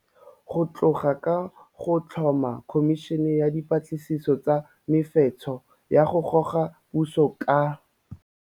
Go tloga ka go tlhoma Khomišene ya Dipatlisiso tsa Mefetsho ya go Goga Puso ka.